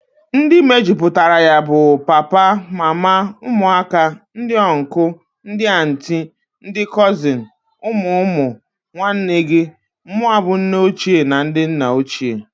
Ndi mejuputara ya bụ, papa, mama, ụmụaka, ndị ọnkụl, ndị antị, ndị kọzịn, ụmụ ụmụ nwanne gi, munwa bu nne ochie na ndi nna ochie.